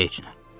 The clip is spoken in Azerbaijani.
Heç nə.